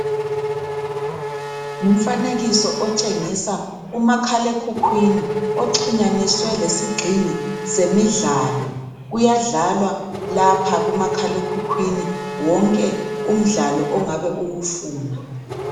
Ngumfanekiso otshengisa umakhalekhukhwini oxhunyaniswe lesigxingi semidlalo kuyadlalwa lapha kumakhalekhukhwini wonke umdlalo ongabe uwufuna.